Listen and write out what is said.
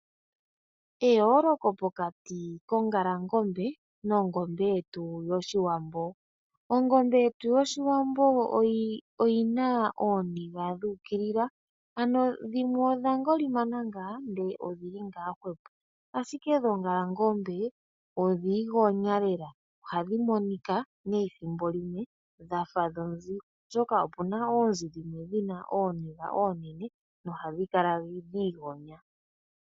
Moshilongo shetu omuudha iinamwenyo. Tuna mo woo oongalangombe ndhoka hadhi adhika mo kuti .